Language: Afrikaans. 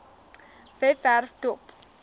webwerf dop